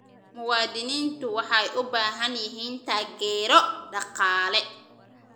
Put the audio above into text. Muwaadiniintu waxay u baahan yihiin taageero dhaqaale.